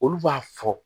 Olu b'a fɔ